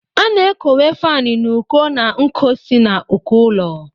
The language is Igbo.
A na-ekowe faani n'uko na nko si n'uko ụlọ